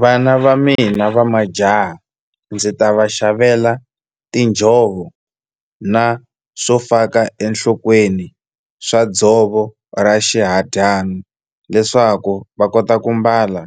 Vana va mina va majaha ndzi ta va xavela tinjhovo na swo faka enhlokweni swa dzovo ra xihadyana leswaku va kota ku mbala